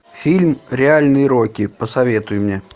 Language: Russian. фильм реальный рокки посоветуй мне